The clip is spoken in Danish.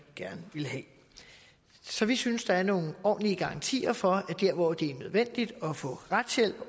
gerne vil have så vi synes der er nogle ordentlige garantier for at der hvor det er nødvendigt at få retshjælp